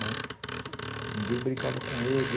Né, ninguém brincava com ele.